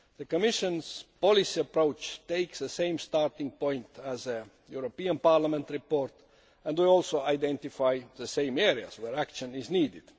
The Commission's policy approach takes the same starting point as Parliament's report and we also identify the same areas where action is needed.